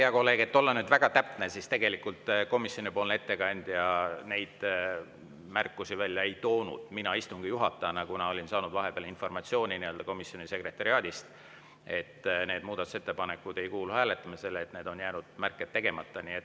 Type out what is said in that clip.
Et olla väga täpne, siis tegelikult komisjoni ettekandja neid märkusi välja ei toonud, mina istungi juhatajana, kuna olin saanud vahepeal informatsiooni komisjoni sekretariaadist, et need muudatusettepanekud ei kuulu hääletamisele, kuid need märked on jäänud tegemata.